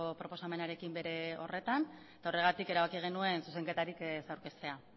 proposamenarekin bere horretan eta horregatik erabaki genuen zuzenketarik ez aurkeztea